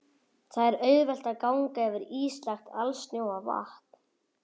Þar er auðvelt að ganga yfir ísilagt alsnjóa vatn.